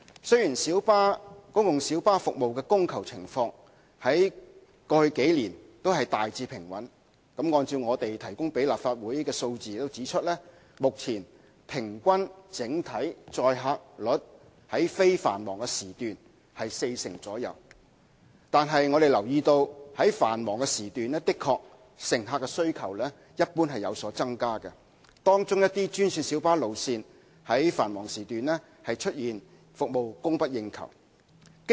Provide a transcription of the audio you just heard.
雖然公共小巴服務的供求情況在過去數年大致平穩——按照當局向立法會提供的數字顯示，公共小巴目前平均整體載客率在非繁忙時段是四成左右——但我們留意到在繁忙時段，乘客需求一般而言確實有所增加，而一些專線小巴路線在繁忙時段更出現服務供不應求的情況。